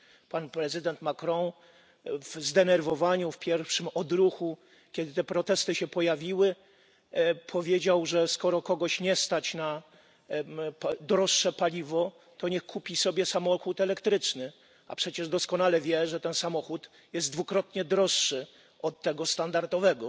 Pan prezydent Macron w zdenerwowaniu, w pierwszym odruchu, kiedy te protesty się pojawiły, powiedział, że skoro kogoś nie stać na droższe paliwo, to niech kupi sobie samochód elektryczny, a przecież doskonale wie, że ten samochód jest dwukrotnie droższy od tego standardowego.